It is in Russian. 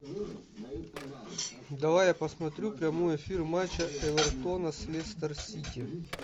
давай я посмотрю прямой эфир матча эвертона с лестер сити